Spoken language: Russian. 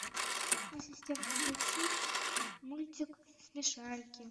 ассистент включи мультик смешарики